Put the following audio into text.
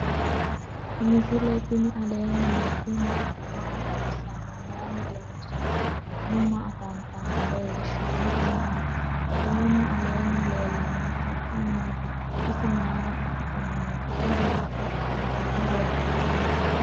misile tini alenni nooti maati? maa xawissanno? Maayinni loonisoonni? mama affanttanno? leelishanori maati? kuuni aleni lelanohu su'mi maati? isi mayira xaqamano? iso hito aaine woronniho?